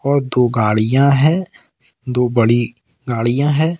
और दो गाड़ियां है दो बड़ी गाड़ियां है।